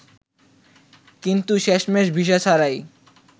কিন্তু শেষমেশ ভিসা ছাড়াই